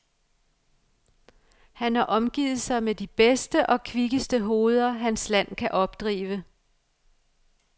Han har omgivet sig med de bedste og kvikkeste hoveder hans land kan opdrive.